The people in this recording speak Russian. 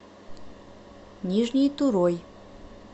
нижней турой